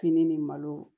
Fini ni malo